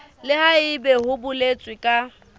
le haebe ho boletswe ka